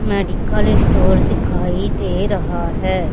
Medical store दिखाई दे रहा हैं।